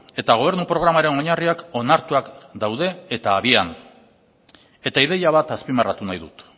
eta gobernu programaren oinarriak onartuak daude eta habian eta ideia bat azpimarratu nahi dut